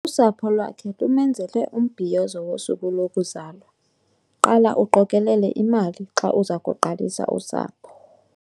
Usapho lwakhe lumenzele umbhiyozo wosuku lokuzalwa. qala uqokelele imali xa uza kuqalisa usapho